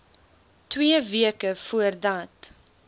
twee weke voordat